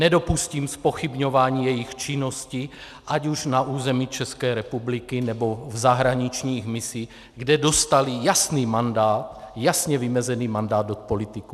Nedopustím zpochybňování jejich činnosti ať už na území České republiky, nebo v zahraničních misích, kde dostali jasný mandát, jasně vymezený mandát od politiků.